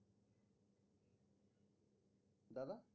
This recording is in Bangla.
দাদা